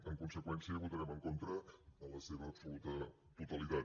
en conseqüència hi votarem en contra en la seva absoluta totalitat